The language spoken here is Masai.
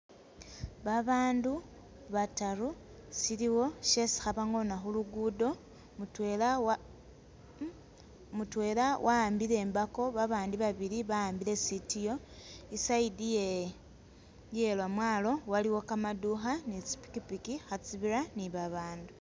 Babandu bataru siliwo shesi khabangona khulugudo , mutwela wa ,mutwela wa'ambile imbako babandi babili bawambile sitiyo i'side iye lwomwalo waliyo kamadukha ne tsipikipiki khatsibira ne babandu.